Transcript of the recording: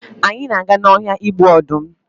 anyị na aga na ọhịa igbu ọdụm